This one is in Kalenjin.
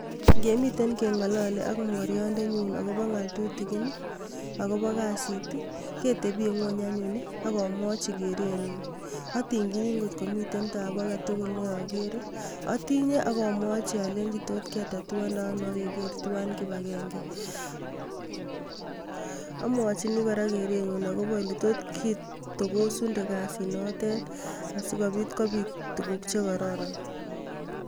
Ngemiten kengalali ak mogorindenyun agobo ngal tutigin ii, agobo kasit ii ketebie ngwony anyun ak amwachi kerenyun. Atingchini ngotko miten tabu age tugul ne agere. Atinye ak amwachi alenji totketatuande ano ak keger tuwan kibangenge. Amwochi kora kerenyun agobo oletot kitogosunde kasit notet sigopit kopit tuguk che kororon.